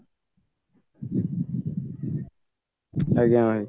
ଆଜ୍ଞା ଭାଇ